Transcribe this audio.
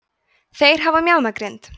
þeir hafa mjaðmagrind